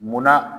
Munna